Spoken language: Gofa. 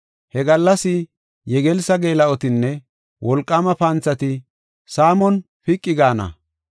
He gallas yegelssa geela7otinne wolqaama panthati saamon piqi gaana.